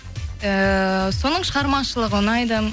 ыыы соның шығармашылығы ұнайды